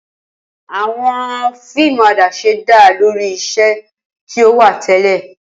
Awọn fiimu adaṣe da lori iṣẹ ti o wa tẹlẹ.